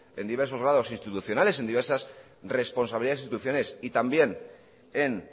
en diversos grados institucionales en diversas responsabilidades instituciones y también en